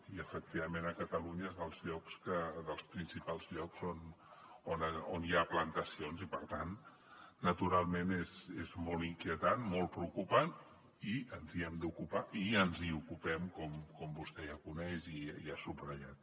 i efectivament a catalunya és dels principals llocs on hi ha plantacions i per tant naturalment és molt inquietant molt preocupant i ens n’hem d’ocupar i ens n’ocupem com vostè ja coneix i ha subratllat